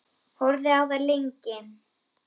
Horfði á þær lengi.